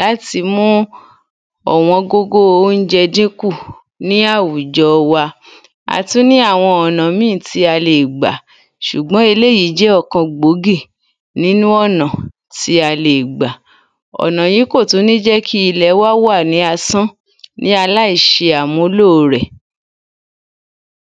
láti mu ọ̀wọ́n gógó óúnjẹ dínkù ní àwùjọ wa a tún ní àwọn ọ̀nà míì tí a lè gbà ṣùgbọ́n eléyìí jẹ́ ọ̀kan gbòógì nínú ọ̀nà tí a lè gbà ọ̀nà yíì kò tún ní jẹ́ kí ilẹ̀ wa wà ní asán ní aláìṣeàmúlò rẹ̀